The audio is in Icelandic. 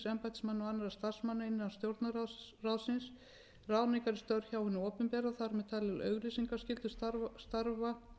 embættismanna og annarra starfsmanna innan stjórnarráðsins ráðningar í störf hjá hinu opinbera og þar með talið auglýsingaskylda starfa